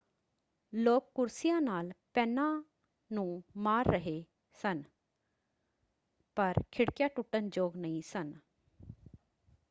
ਲੋਕ ਕੁਰਸੀਆਂ ਨਾਲ ਪੈਨਾਂ ਨੂੰ ਮਾਰ ਰਹੇ ਸਨ ਪਰ ਖਿੜਕੀਆਂ ਟੁੱਟਣ-ਯੋਗ ਨਹੀਂ ਸਨ।